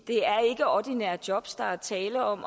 det er ikke ordinære jobs der er tale om